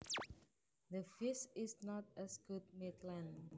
The fish is not as good midland